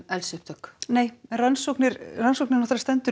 eldsins nei en rannsóknin rannsóknin